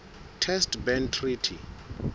test ban treaty